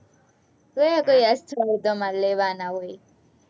કયાં ક્યાં સ્થળ તમારે લેવાના હોય?